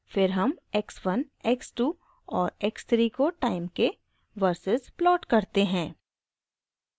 फिर हम x 1 x 2 और x 3 को टाइम के वर्सेस प्लॉट करते हैं